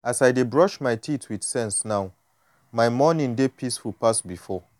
as i dey brush my teeth with sense now my morning dey peaceful pass before.